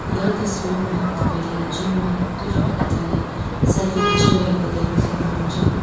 यस तस्वीरमा तपाईँले जिम मा दुईजना केटाले सेल्फी खिचीरहेको देख्नु सक्नुहुन्छ।